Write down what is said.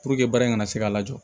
Puruke baara in kana se ka lajɔ